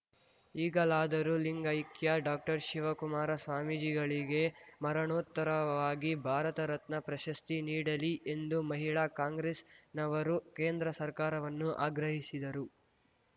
ಈಗಲಾದರೂ ಲಿಂಗೈಕ್ಯ ಡಾಕ್ಟರ್ಶಿವಕುಮಾರ ಸ್ವಾಮೀಜಿಗಳಿಗೆ ಮರಣೋತ್ತರವಾಗಿ ಭಾರತ ರತ್ನ ಪ್ರಶಸ್ತಿ ನೀಡಲಿ ಎಂದು ಮಹಿಳಾ ಕಾಂಗ್ರೆಸ್‌ನವರು ಕೇಂದ್ರ ಸರ್ಕಾರವನ್ನು ಆಗ್ರಹಿಸಿದರು